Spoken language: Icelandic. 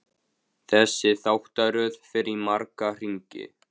Þessi þáttaröð fer í marga hringi.